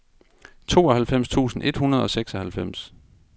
tooghalvfems tusind et hundrede og seksoghalvfems